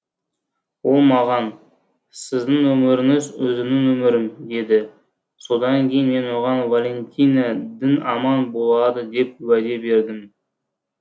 ол маған сіздің өміріңіз өзімнің өмірім деді содан кейін мен оған валентина дін аман болады деп уәде бердім